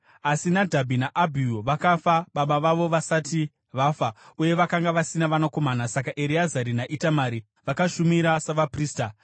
Asi Nadhabhi naAbhihu vakafa baba vavo vasati vafa, uye vakanga vasina vanakomana; saka Ereazari naItamari vakashumira savaprista.